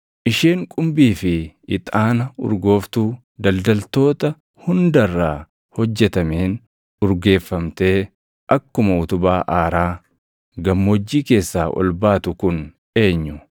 Isheen qumbii fi ixaana urgooftuu daldaltootaa hunda irraa hojjetameen urgeeffamtee akkuma utubaa aaraa gammoojjii keessaa ol baatu kun eenyu?